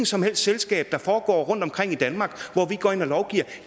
som helst selskab der foregår rundtomkring i danmark hvor vi går ind og lovgiver